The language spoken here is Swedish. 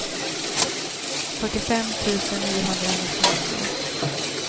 fyrtiofem tusen niohundranittionio